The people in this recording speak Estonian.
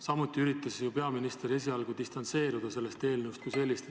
Samuti üritas peaminister esialgu sellest eelnõust distantseeruda.